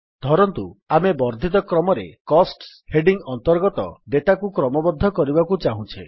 ଧରନ୍ତୁ ଆମେ ବର୍ଦ୍ଧିତ କ୍ରମରେ କୋଷ୍ଟସ ହେଡିଙ୍ଗ୍ ଅନ୍ତର୍ଗତ ଡେଟାକୁ କ୍ରମବଦ୍ଧ କରିବାକୁ ଚାହୁଁଛେ